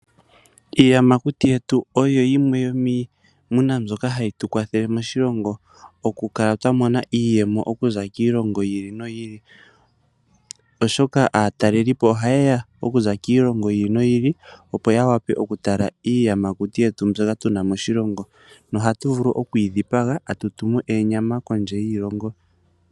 Iiyamakuti yetu oyo yimwe yomiimuna mbyoka hayi tu kwakwathele okukala twamona iiyemo okuza kiilongo yi ili noyi ili. Oshoka aatalelipo ohaye ya okuza kiilongo yi ili noyi ili opo yawape okutala iiyamakuti mbyoka tu na moshilongo noha tu vulu okuyi dhipaga tatu tumu onyama kondje yoshilongo.